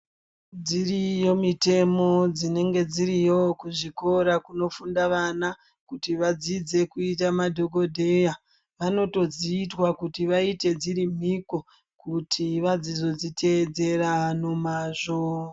Dziriyo mitemo dzinenge dziriyo kuzvikora kunofunda vana kuti vadzidze kuita madhokodheya, vanotodziitwa kuti vaite dziri mhiko kuti vazodziteedzera nomazvo.